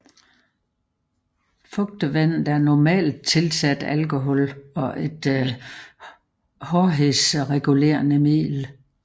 Fugtevandet er normalt tilsat alkohol og et hårdhedsregulerende middel